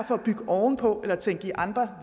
for at bygge oven på eller tænke i andre